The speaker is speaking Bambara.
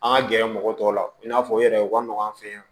An ka gɛrɛ mɔgɔ tɔw la i n'a fɔ yɛrɛ u ka nɔgɔn an fɛ yan